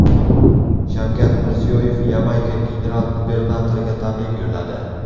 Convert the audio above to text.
Shavkat Mirziyoyev Yamayka general-gubernatoriga tabrik yo‘lladi.